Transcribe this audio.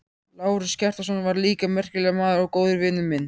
Lárus Kjartansson var líka merkilegur maður og góður vinur minn.